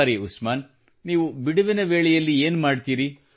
ಸರಿ ಉಸ್ಮಾನ್ ನೀವು ಬಿಡುವಿನ ವೇಳೆಯಲ್ಲಿ ಏನು ಮಾಡುತ್ತೀರಿ